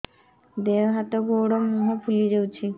ଦେହ ହାତ ଗୋଡୋ ମୁହଁ ଫୁଲି ଯାଉଛି